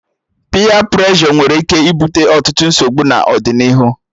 Piyee preshọ nweere ike ibute ọtụtụ nsogbu n'ọdịnihu